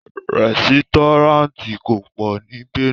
Rẹ́sítọ́ráǹtì kò pọ̀ ní Benue